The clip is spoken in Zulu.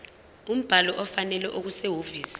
umbhalo ofanele okusehhovisi